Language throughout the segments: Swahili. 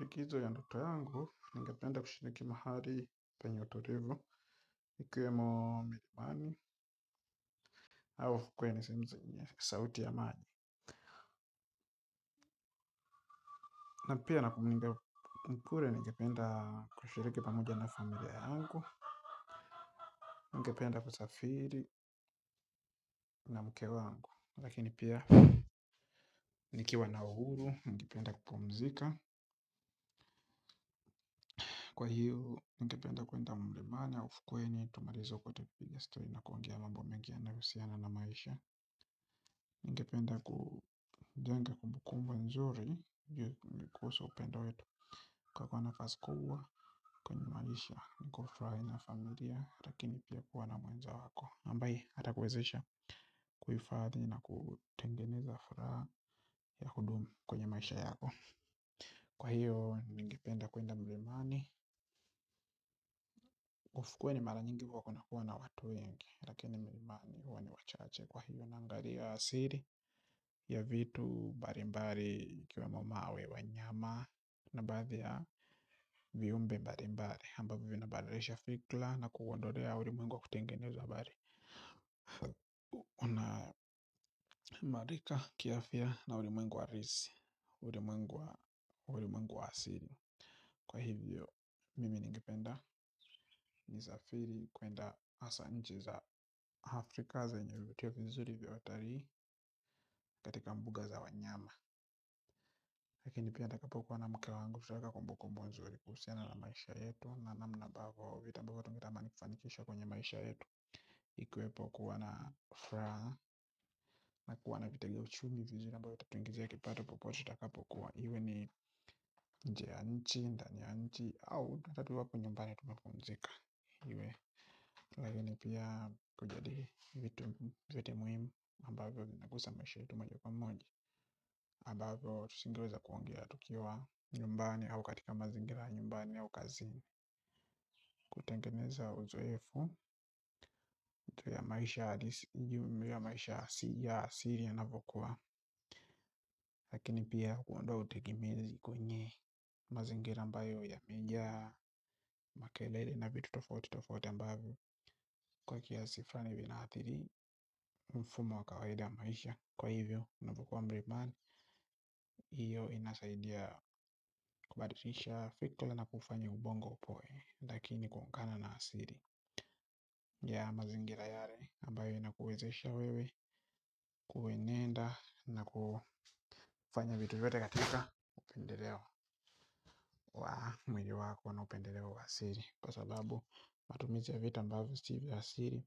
Likizo ya ndoto yangu, ningependa kushiriki mahali penye utulivu, ikuwemo amani, au ukuwe ni sehemu zenye, sauti ya amani. Na pia, ningependa kushiriki pamoja na familia yangu, ningependa kusafiri na mke wangu. Lakini pia, nikiwa na uhuru, ningependa kupumzika. Kwa hiyo, ningependa kuenda mlimani, au ufukweni, tumalize kote piga stori na kuongea mambo mengi yanahusiana na maisha. Ningependa kujenga kumbukumbu nzuri kuhusu upendo wetu kwa kuwa nafasi kubwa kwenye maisha ni kufurahi na familia. Lakini pia kuwa na mwenzako ambaye atakuwezesha kufahifadhi na kutengeneza furaha ya kudumu kwenye maisha yako. Kwa hiyo, niingependa kuenda milimani ufukweni mara nyingi huwa kuna kuwa na watu wengi. Lakini milimani huwa na wachache. Kwa hivyo naangalia asili ya vitu mbali mbali ikiwa mamawe wa nyama. Na baadhi ya viumbe mbali mbali ambavyo vina badilisha fikra na kuondolea ulimwengu wa kutengeneza habari na maarifa, kiafya na ulimungu wa risi. Ulimwengu wa asili. Kwa hivyo mimi ningependa nisafiri kuenda hasa nchi za Afrika zenye vutio vizuri viy otarii katika mbuga za wanyama lakini pia ninapokuwa na mke wangu tutaweka kumbukumbu nzuri kuhusiani na maisha yetu na namna ambavyo vitu ambavyo tungetamani kufanikisha kwenye maisha yetu ikuwepo kuwa na furaha na kuwa na vitegea uchumi vizuri ambayo tatuingizia kipato popote tutakapo pokuwa iwe ni nje ya nchi, ndani ya nchi au nakaa tu hapo nyumbani tunapumzika iwe lakini pia kujadihi vitu muhimu ambavyo vinagusa maisha yetu moja ka moja ambavyo tusingeweza kuongea. Tukiwa nyumbani au katika mazingira ya nyumbani au kazi. Kutengeneza uzoefu ju ya maisha halisi ju ya maisha hasili inavokuwa. Lakini pia kuondoa utegemezi kwenye mazingira mbayo yame jaa makelele na vitu tofauti tofauti ambavyo kwa kiasi fulani vinaathiri mfumo wa kawaida ya maisha. Kwa hivyo, unavyokuwa mbriban. Iyo inasaidia kubadilisha fikra na kufanya ubongo upoe. Lakini kuungana na asili ya mazingira yale ambayo inakuwezesha wewe, kuwe nenda na kufanya vitu vyote katika upendelewa wa mwili wako na upendelewa wa asili. Kwa sababu matumizi ya vitu ambavyo si vya asili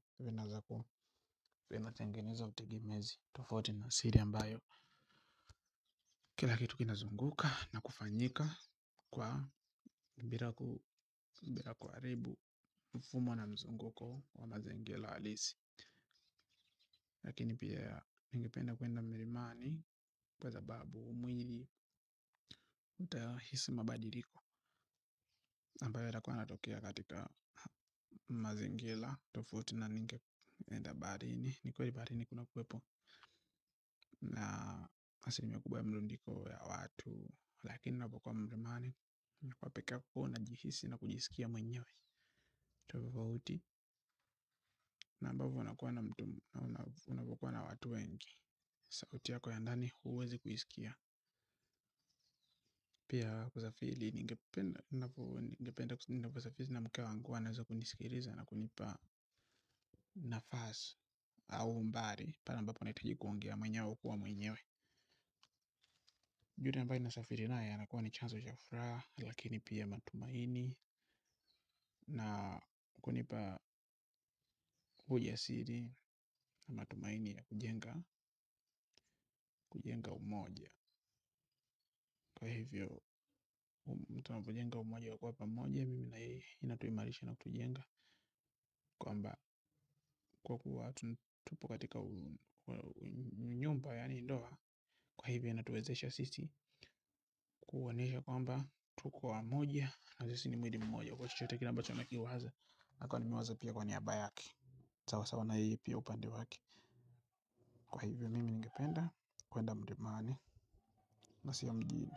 vinatengeneza utegemezi tofauti na asili ambayo kila kitu kinazunguka na kufanyika kwa bila kuharibu mfumo na mzunguko wa mazingira halisi. Lakini pia ningependa kuenda mlimani kwa sababu mwili utahisi mabadiliko ambayo yatakuwa yanatokea katika mazingira, tofauti na ninge enda baharini. Ni kweli baharini kuna kuwepo na asilimia kubwa ya mlundiko ya watu. Lakini navyokwa mrimani, nakuwa pekako na jihisi na kujisikia mwenyewe. Tofauti na ambavyo unakuwa na mtu, unavyokuwa na watu wengi. Sauti ya kwa ya ndani huwezi kuisikia. Pia kusafili ningependa kusafiri na mke wangu huwa anaweza kunisikiliza. Na kunipa nafasi au mbari. Pale ambapo nahitaji kuongea mwenyewe kwa mwenyewe juhudi ambaye na safiri anakuwa ni chanzo ya kufuraha. Lakini pia matumaini na kunipa ujasiri. Na matumaini ya kujenga kujenga umoja. Kwa hivyo mtu wa kujenga umoja hukuwa pamoja mimi na yeye ili tuimarishe na kujenga kwamba kwa kuwa tupo katika nyumba yaani ndoa kwa hivyo inatuwezesha sisi kuwaonesha kwamba tuku wamoja na sisi ni mwilimmoja kwa chochote kile ambacho nakiwaza nakuwa nemiwaza pia kwa niaba yake sawawasa naye pia upande wake kwa hivyo mimi ngependa kuenda mlimani na siyo mjini.